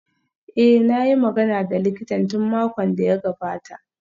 Eh, na yi magana da likitan tun makon da ya gabata